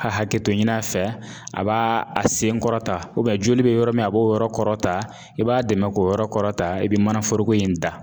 ka hakɛto ɲin'a fɛ a b'a a sen kɔrɔta joli bɛ yɔrɔ min a b'o yɔrɔ kɔrɔta i b'a dɛmɛ k'o yɔrɔ kɔrɔta i bɛ manaforoko in da